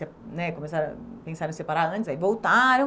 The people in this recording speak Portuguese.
né né Começaram, pensaram em separar antes, aí voltaram.